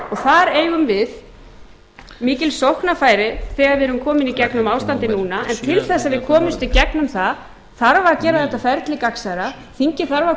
þar eigum við mikil sóknarfæri þegar við erum komin í gegnum ástandið núna en til þess að við komumst í gegnum það þarf að gera þetta ferli gagnsærra þingið þarf að